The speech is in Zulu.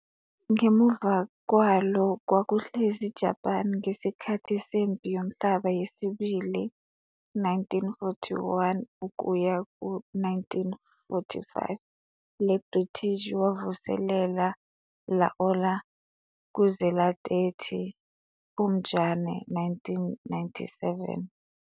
Ngemuva kwalo kwakuhlezi Japan ngesikhathi seMpi yoMhlaba yesiBili, 1941-45, Le British wavuselela laola kuze la 30 Phupjane 1997.